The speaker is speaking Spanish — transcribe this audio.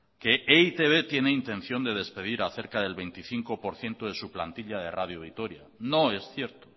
que e i te be tiene intención de despedir a cerca del veinticinco por ciento de su plantilla de radio vitoria no es cierto